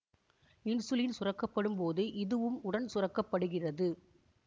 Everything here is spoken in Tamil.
இன்சுலின் சுரக்க படும் போது இதுவும் உடன் சுரக்கப்படுகிறது